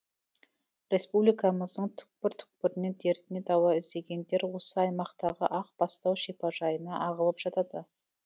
республикамыздың түкпір түкпірінен дертіне дауа іздегендер осы аймақтағы ақ бастау шипажайына ағылып жатады